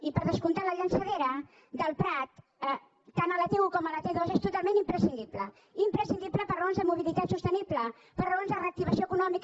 i per descomptat la llançadora del prat tant a la t1 com a la t2 és totalment imprescindible imprescindible per raons de mobilitat sostenible per raons de reactivació econòmica